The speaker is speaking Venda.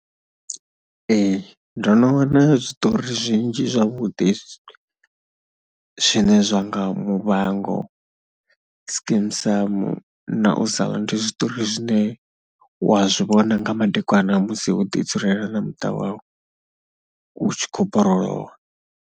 Ee ndo no wana zwiṱori zwinzhi zwavhuḓi zwine zwa nga Muvhango, Skeem Saam, na u sa, ndi zwiṱori zwine wa zwi vhona nga madekwana musi ho ḓi dzulela na muṱa wau u tshi khou borolowa.